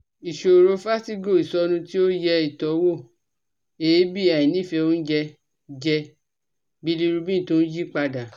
Ìṣòro vertigo, ìsọnu ti oye itowo, eebi, àìnífẹ́ oúnjẹ jẹ, bilirubin tó ń yí padà